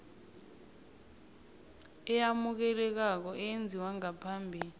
eyamukelekako eyenziwe ngaphambi